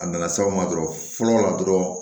A nana se aw ma dɔrɔn fɔlɔ la dɔrɔn